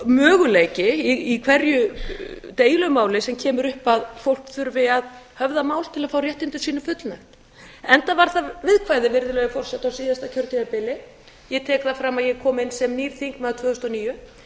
möguleiki í hverju deilumál sem kemur upp að fólk þurfi að höfða mál til að fá réttindum sínum fullnægt enda var það viðkvæðið virðulegi forseti á síðasta kjörtímabili ég tek það fram að ég kom inn sem nýr þingmaður tvö þúsund og níu